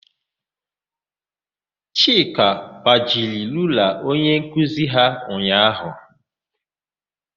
Chika gbajiri rula onyenkuzi ya ụnyaahụ.